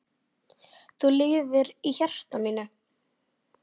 Þú lifir í hjarta mínu.